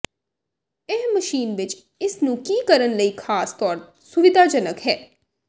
ਇਹ ਮਸ਼ੀਨ ਵਿਚ ਇਸ ਨੂੰ ਕੀ ਕਰਨ ਲਈ ਖਾਸ ਤੌਰ ਸੁਵਿਧਾਜਨਕ ਹੈ